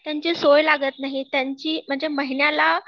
त्यांची सोय लागत नाही, त्यांची म्हणजे महिन्याला